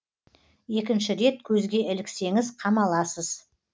екінші рет көзге іліксеңіз қамаласыз